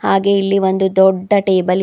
ಹಾಗೆ ಇಲ್ಲಿ ಒಂದು ದೊಡ್ಡ ಟೇಬಲ್ ಇದೆ.